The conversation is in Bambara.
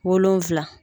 Wolonfila